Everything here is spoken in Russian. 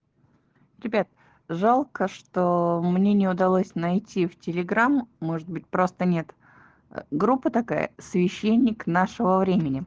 ребят жалко что мне не удалось найти в телеграмм может быть просто нет группы такая священник нашего времени